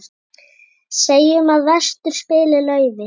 Segjum að vestur spili laufi.